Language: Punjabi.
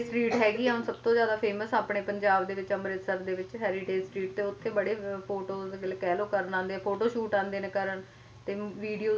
ਜਿਦਾਂ ਹੈਰੀਟੇਜ street ਹੈਗੀ ਆ ਹੁਣ ਸਭਤੋਂ ਜ਼ਿਆਦਾ famous ਆਪਣੇ ਪੰਜਾਬ ਦੇ ਵਿੱਚ ਅੰਮ੍ਰਿਤਸਰ ਦੇ ਵਿੱਚ ਹੈਰੀਟੇਜ street ਤੇ ਉੱਥੇ ਬੜੇ ਅਹ photos ਮਤਲਬ ਕਹਿਲੋ ਕਰਨ ਆਉਂਦੇ photoshoot ਆਉਂਦੇ ਨੇ ਕਰਨ ਤੇ ਹੁਣ videos ਵੀ